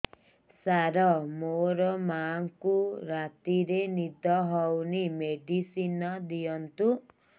ସାର ମୋର ମାଆଙ୍କୁ ରାତିରେ ନିଦ ହଉନି ମେଡିସିନ ଦିଅନ୍ତୁ